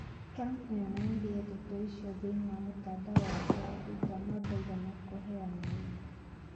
Trump nĩ onanirie ndeto icio thĩinĩ wa mũtandao wake wa Twitter no ndaigana kũheana ũira